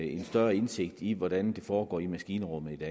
en større indsigt i hvordan det foregår i maskinrummet